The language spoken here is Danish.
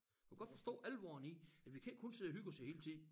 Du kan godt forstå alvoren i at vi kan ikke kun sidde og hygge os æ hele tid